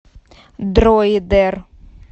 дроидер